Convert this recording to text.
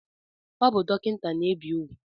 O bu dokinta na-ebe ugwu